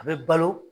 A bɛ balo